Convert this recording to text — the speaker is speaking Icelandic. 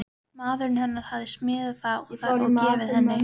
Maðurinn hennar hafði smíðað það og gefið henni.